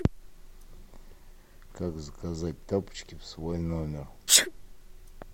как заказать тапочки в свой номер